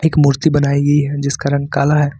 एक मूर्ति बनाई गई है जिसका रंग काला है।